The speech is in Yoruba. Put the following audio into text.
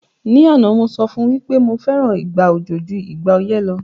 Ní àná, mo sọ fún wí pé mo fẹ́ràn ìgbà òjò ju ìgbà ọyẹ́ lo